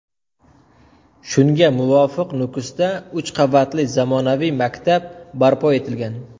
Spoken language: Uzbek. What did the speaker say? Shunga muvofiq Nukusda uch qavatli zamonaviy maktab barpo etilgan.